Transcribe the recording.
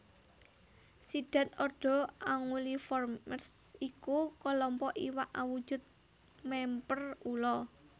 Sidhat ordo Anguilliformes iku klompok iwak awujud mèmper ula